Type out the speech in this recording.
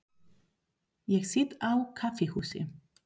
Ég sit á kaffihúsi.